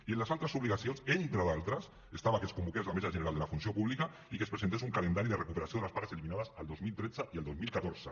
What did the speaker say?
i en les altres obligacions entre d’altres hi havia que es convoqués la mesa general de la funció pública i que es presentés un calendari de recuperació de les pagues eliminades el dos mil tretze i el dos mil catorze